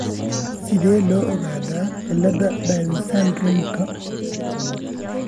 Sidee loo ogaadaa cilladda Down syndrome-ka?